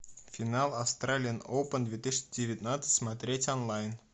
финал австралиан опен две тысячи девятнадцать смотреть онлайн